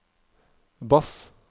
bass